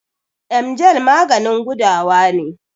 Emgyl maganin gudawa ne.